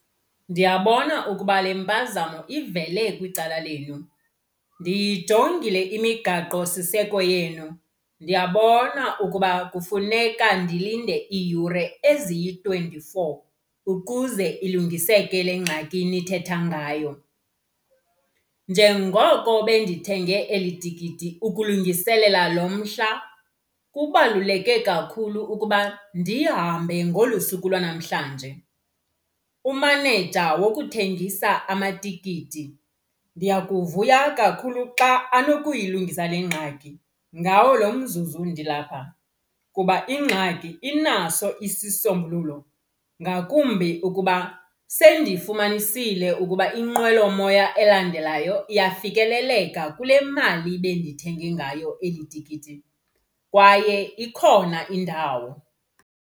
Ndiyabona ukuba le mpazamo ivele kwicala lenu. Ndiyijongile imigaqosiseko yenu, ndiyabona ukuba kufuneka ndilinde iiyure eziyi-twenty-four ukuze ilungiseke le ngxaki nithetha ngayo. Njengoko bendithenge eli tikiti ukulungiselela loo mhla, kubaluleke kakhulu ukuba ndihambe ngolu suku lwanamhlanje. Umaneja wokuthengisa amatikiti ndiyakuvuya kakhulu xa anokuyilungisa le ngxaki ngawo lo mzuzu ndilapha. Kuba ingxaki inaso isisombululo ngakumbi ukuba sendiyifumanisile ukuba inqwelomoya elandelayo iyafikeleleka kule mali bendithenge ngayo eli tikiti, kwaye ikhona indawo.